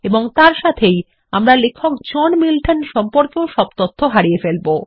এবং এর সাথেই আমরা লেখক জন মিল্টন সম্পর্কেও তথ্য হারিয়ে ফেলব